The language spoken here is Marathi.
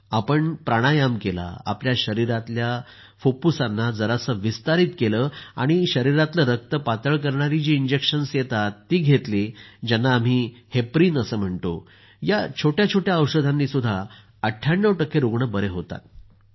आपण प्राणायाम केला आपल्या शरिरातल्या फुफ्फुसांना जरासं विस्तारित केलं आणि शरिरातलं रक्त पातळ करणारी जी इंजेक्शन्स येतात ती घेतली ज्यांना आम्ही हेपरिन म्हणतो या छोट्या छोट्या औषधांनीही 98 टक्के रूग्ण बरे होतात